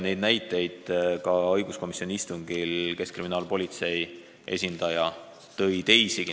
Neid näiteid tõi õiguskomisjoni istungil keskkriminaalpolitsei esindaja teisigi.